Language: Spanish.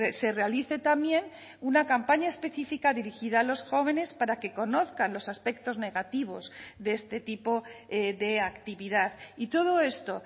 se realice también una campaña específica dirigida a los jóvenes para que conozcan los aspectos negativos de este tipo de actividad y todo esto